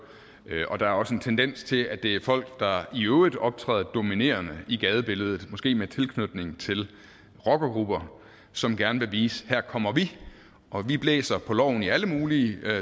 og der er også en tendens til at det er folk der i øvrigt optræder dominerende i gadebilledet måske med tilknytning til rockergrupper og som gerne vil vise at her kommer vi og vi blæser på loven i alle mulige